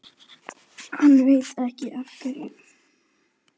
Hann veit ekki af hverju.